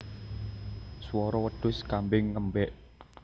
Swara wedhus kambing ngembek